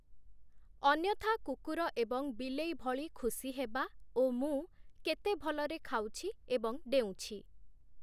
ଅନ୍ୟଥା କୁକୁର ଏବଂ ବିଲେଈ ଭଳି ଖୁସି ହେବା ଓ ମୁଁ କେତେ ଭଲରେ ଖାଉଛି ଏବଂ ଡେଉଁଛି ।